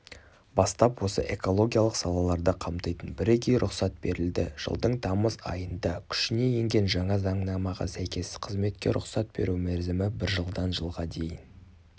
бастап осы экологиялық салаларды қамтитын бірегей рұқсат берілді жылдың тамыз айында күшіне енген жаңа заңнамаға сәйкес қызметке рұқсат беру мерзімі бір жылдан жылға дейін